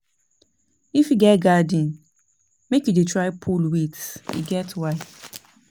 If you get garden, make you dey try pull weeds, e get why.